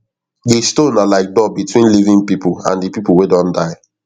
di stone na like door between living people and di people wey don die